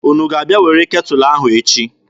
Unu ga-abịa were ketụlụ ahụ echi?